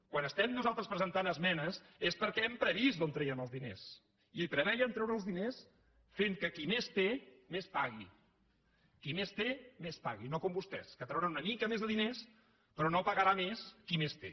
quan estem nosaltres presentant esmenes és perquè hem previst d’on traiem els diners i prevèiem treure els diners fent que qui més té més pagui qui més té més pagui no com vostès que trauran una mica més de diners però no pagarà més qui més té